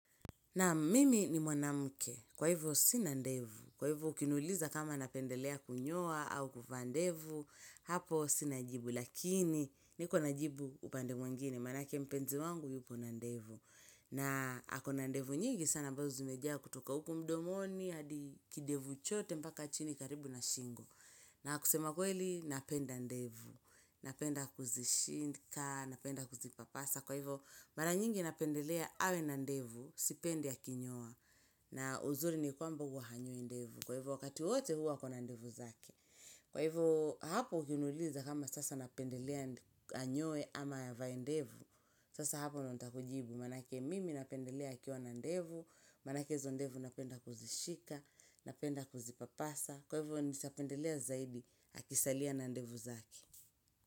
Naam, mimi ni mwanamke. Kwa hivo sina ndevu. Kwa hivo ukiniuliza kama napendelea kunyoa au kuvaa ndevu. Hapo sina jibu, lakini niko na jibu upande mwengine, manake mpenzi wangu yupo na ndevu. Na ako na ndevu nyingi sana mwanzo zimejaa kutoka huku mdomoni, hadi kidevu chote mpaka chini karibu na shingo. Na kusema kweli, napenda ndevu. Napenda kuzishika, napenda kuzipapasa. Kwa hivo, mara nyingi napendelea awe na ndevu, sipendi akinyoa. Na uzuri ni kwamba huwa hanyoi ndevu. Kwa hivo, wakati wote huwa ako na ndevu zake. Kwa hivo, hapo ukiniuliza kama sasa napendelea anyoe ama avae ndevu. Sasa hapo ndo nitakujibu manake mimi napendelea akiwa na ndevu, manake hizo ndevu napenda kuzishika, napenda kuzipapasa, kwa hivo naeza pendelea zaidi akisalia na ndevu zake.